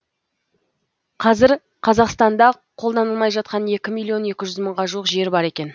қазір қазақстанда қолданылмай жатқан екі миллион екі жүз мыңға жуық жер бар екен